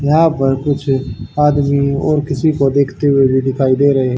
यहां पर कुछ आदमी और किसी को देखते हुए भी दिखाई दे रहे--